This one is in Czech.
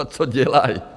A co dělají?